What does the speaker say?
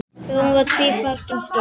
Þjóðin varð tvíátta um stund.